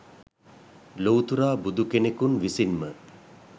ලොව්තුරා බුදු කෙනකුන් විසින්ම